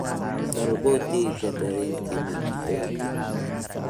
Dalbo tigidhka tareenka wakhtigan